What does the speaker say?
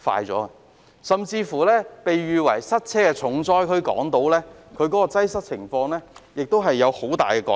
即使被稱為塞車重災區的港島區，擠塞的情況也有很大改善。